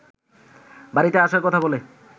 বাড়িতে আসার কথা বলে